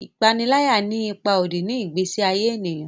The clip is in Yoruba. ipanilaya ní ipá òdì ni igbesi aye ènìyàn